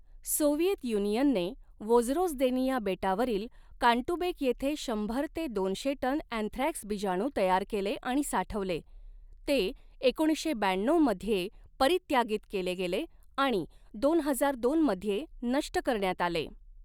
Soviet युनियनने Vozrozhdeniya बेटावरील Kantubek येथे शंभर ते दोनशे टन अँथ्रॅक्स बीजाणू तयार केले आणि साठवले, ते एकोणीसशे ब्याण्णऊ मध्ये परीत्यागीत केले गेले आणि दोन हजार दोन मध्ये नष्ट करण्यात आले.